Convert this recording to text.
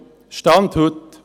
– Der Stand heute: